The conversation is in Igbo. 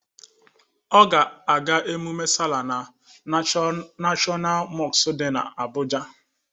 Ọ ga-aga ememe sala na nashọnal mọsku dị n'Abụja.